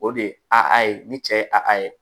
O de a a ye ni cɛ ye a a a ye